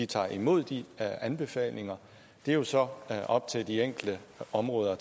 tager imod de anbefalinger er jo så op til de enkelte områder at